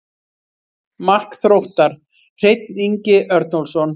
Mark Þróttar: Hreinn Ingi Örnólfsson.